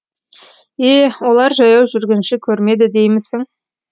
е олар жаяу жүргінші көрмеді деймісің